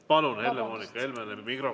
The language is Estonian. Palun, Helle-Moonika Helmele mikrofon!